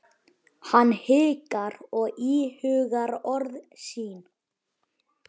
Hann hikar og íhugar orð sín.